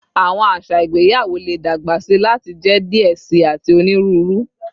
Awọn aṣa igbeyawo le dagbasi lati jẹ diẹ sii ati oniruuru